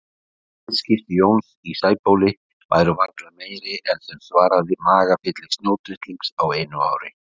Viðskipti Jóns í Sæbóli væru varla meiri en sem svaraði magafylli snjótittlings á einu ári.